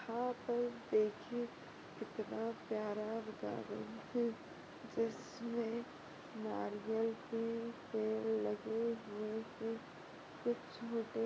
यहाँ पर देखिये कितना प्यारा गार्डन हैं जिसमे नारियल के पेड़ लगे हुए हैं कुछ छोटे--